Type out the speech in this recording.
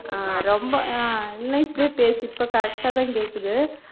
அஹ் ரொம்ப அஹ் இல்லன்னா இப்படியே பேசு இப்போ correct ஆ தான் கேக்குது